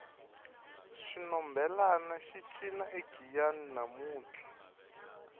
xinhombelani xi cina egiyani namuntlha